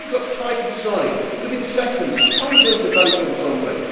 If you have got to try to decide within seconds, how are you going to vote on something?